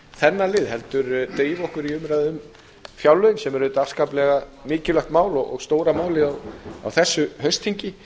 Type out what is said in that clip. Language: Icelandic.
þennan lið heldur drífa okkur í umræðuna um fjárlögin sem er auðvitað afskaplega mikilvægt mál og stóra málið á þessu haustþingi